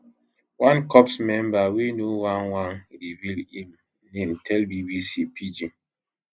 one corps member wey no wan wan reveal im name tell bbc pidgin